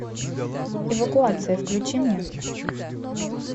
эвакуация включи мне